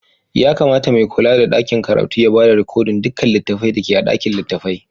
Ya kamata mai kulla da dakin karatun ya ba da rikodin dukkan littafai da ke a ɗakin littafai.